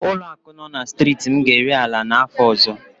Ụlọaku nọ na striiti m ga-ere ala n'áfọ ọzọ.